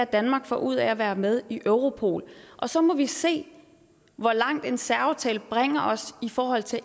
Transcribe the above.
danmark får ud af at være med i europol og så må vi se hvor langt en særaftale bringer os i forhold til